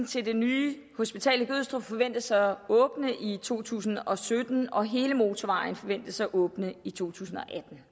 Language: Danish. til det nye hospital i gødstrup forventes at åbne i to tusind og sytten og hele motorvejen forventes at åbne i to tusind og